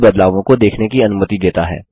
सभी बदलावों को देखने की अनुमति देता है